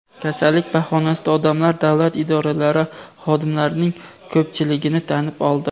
kasallik bahonasida odamlar davlat idoralari xodimlarining ko‘pchiligini tanib oldi.